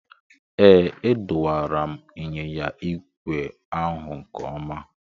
Ee, adọwara m ịnyịnya ígwè ahụ nke ọma.